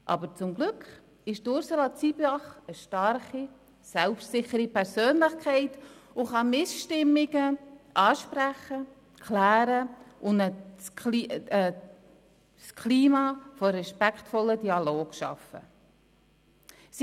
Aber zum Glück ist Ursula Zybach eine starke, selbstsichere Persönlichkeit, die Missstimmungen ansprechen, klären und ein Klima des respektvollen Dialogs schaffen kann.